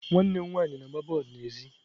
Nwanne m nwanyị na-agba bọọlụ n'èzí.